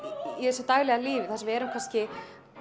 í þessu daglega lífi þar sem við erum kannski